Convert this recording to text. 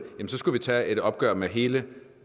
så skulle vi tage et opgør med hele